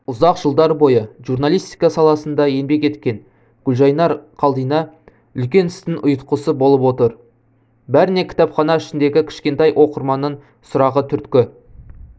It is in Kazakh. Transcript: ұзақ жылдар бойы журналистика саласында еңбек еткен гүлжайнар қалдина үлкен істің ұйытқысы болып отыр бәріне кітапхана ішіндегі кішкентай оқырманның сұрағы түрткі